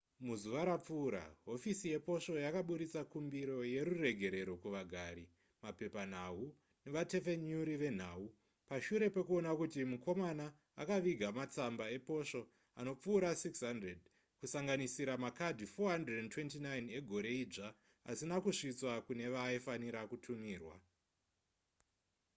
muzuva rapfuura hofisi yeposvo yakaburitsa kumbiro yeruregerero kuvagari mapepanhau nevatepfenyuri venhau pashure pekuona kuti mukomana akaviga matsamba eposvo anopfuura 600 kusanganisira makadhi 429 egore idzva asina kusvitswa kune vaaifanirwa kutumirwa